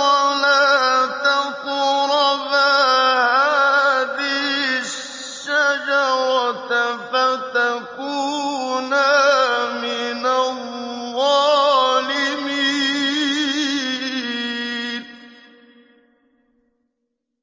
وَلَا تَقْرَبَا هَٰذِهِ الشَّجَرَةَ فَتَكُونَا مِنَ الظَّالِمِينَ